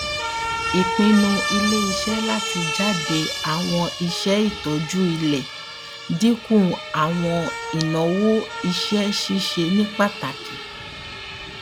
ipinnu ileiṣẹ lati jade awọn iṣẹ itọju ile dinku awọn inawo iṣẹ ṣiṣe ni pataki